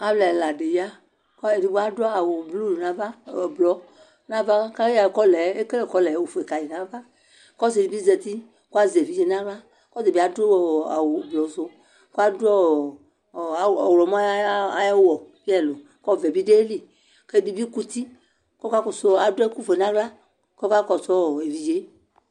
Alu ɛla di ya kedigbo adʋ awu blu nava, ɔblɔ navakayɔɔ kɔlɛ, ekele kɔlɛ ofue kayi nava Kɔsidibi zati kazɛvidze naɣla kɔtabiadʋ ɔɔ awu ublusuKaɖu ɔɔɔ ɔɣlɔmɔ ayawu bi ɛlu, kɔvɛ bi diayili kɛdini kutikɔkakɔsu ɔɔ aduɛkʋfue naɣla Kɔkakɔsu ɔɔɔ evidzee